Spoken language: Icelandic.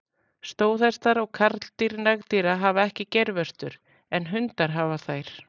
Stóðhestar og karldýr nagdýra hafa ekki geirvörtur, en hundar hafa þær.